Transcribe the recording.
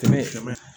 Tɛmɛ